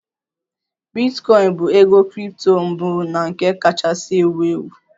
Bitcoin bụ ego kripto mbụ na nke kachasị ewu ewu